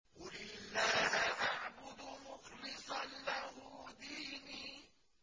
قُلِ اللَّهَ أَعْبُدُ مُخْلِصًا لَّهُ دِينِي